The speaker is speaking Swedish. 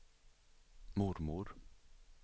mormor